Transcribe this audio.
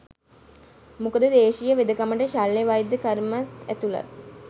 මොකද දේශීය වෙදකමට ශල්‍ය වෛද්‍ය කර්මත් ඇතුළත්.